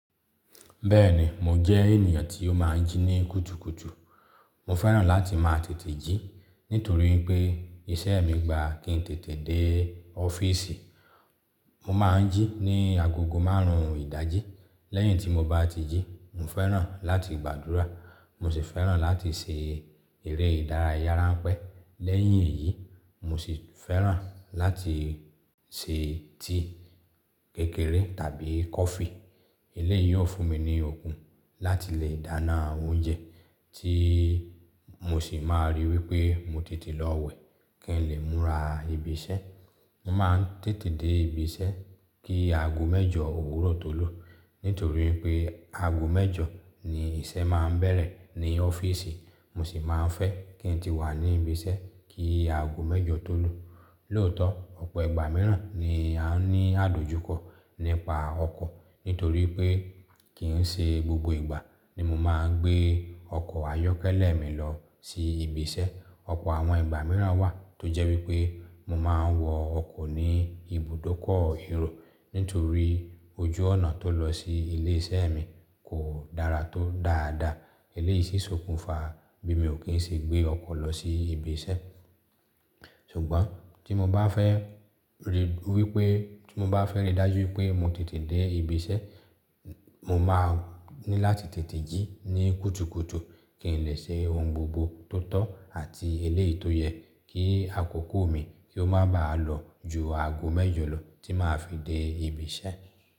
Bẹ́ẹ̀ni, mo jẹ́ ènìyàn tí ó máa ń jí ní kùtùkùtù. Mo fẹ́ràn láti máa tètè jí nítorí pé iṣẹ́ mi gba kí n tètè dé ọ́fìsì. Mo máa ń jí ní agogo márùn ún ìdájí. Lẹ́yìn tí mo bá ti jí, mo fẹ́ràn láti gbàdúrà. Mo sì fẹ́ràn láti se eré ìdárayára ranpẹ́. Lẹ́yìn èyí, mo sì fẹ́ràn láti se tíì kékeré tàbí kọfí. Eléyìí yóò fún mi ní okun láti lè dáná oúnjẹ tí mo sì máa rí wípé mo tètè lọ wẹ̀ kí n lè múra ibi iṣẹ́. Mo máa ń tètè dé ibi iṣẹ́ kí aago mẹ́jọ òwúrọ̀ tó lù. Nítorí wipé aago mẹ́jọ ni iṣẹ́ máa ń bẹ̀rẹ̀ ní ọ́fìsì, mo sì máa ń fẹ́ kí n ti wà ní ibi iṣẹ́ kí aago mẹ́jọ tó lù. Lóòótọ́, ọ̀pọ̀ ìgbà mìíràn ni a ní àdojúkọ nípa ọkọ̀ nítorí pé kì ń ṣe gbogbo ìgbà ni mo máa ń gbé ọkọ̀ ayọ́kẹ́lẹ́ mi lọ sí ibi iṣẹ́. Ọ̀pọ̀ àwọn ìgbà mìíràn wà tó jẹ́ wípé mo máa ń wọ ọkọ̀ ní ibùdókọ̀ ero nítorí ojú ọ̀nà tó lọ sí ilé iṣẹ́ mi kò dára tó dáadáa. Eléyìí sì sokùnfa bí mi ò kí ń ṣe gbé ọkọ̀ lọ sí ibi iṣẹ́. Ṣùgbọ́n tí mo bá fẹ́ ríi wípé tí mo bá fẹ́ rí i dájú wípé mo tètè dé ibi iṣẹ́, mo máa ní láti tètè jí ní kùtùkùtù kí n lè ṣe ohun gbogbo tó tọ́ àti eléyìí tó yẹ kí àkókò mi kí ó máa ba à lọ ju aago mẹ́jọ lọ tí màá fi dé ibi iṣẹ́.